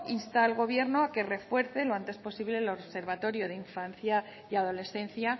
insta al gobierno a que refuerce lo antes posible el observatorio de la infancia y adolescencia